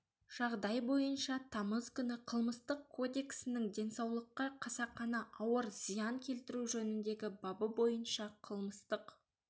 жағдай бойынша тамыз күні қылмыстық кодексінің денсаулыққа қасақана ауыр зиян келтіру жөніндегі бабы бойынша қылмыстық